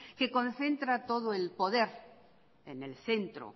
que concentra todo el poder en el centro